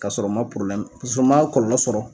Kasɔrɔ u ma pus'u ma kɔɔlɔ sɔrɔ